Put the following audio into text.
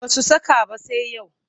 Ba su saka ba sai yau